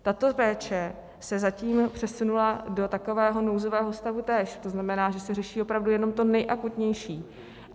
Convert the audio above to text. Tato péče se zatím přesunula do takového nouzového stavu též, to znamená, že se řeší opravdu jenom to nejakutnější.